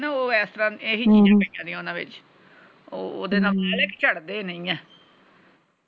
ਓਹਦੇ ਨਾਲ ਝੜ ਦੇ ਨਹੀਂ ਆ